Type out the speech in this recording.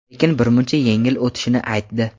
lekin birmuncha yengil o‘tishini aytdi.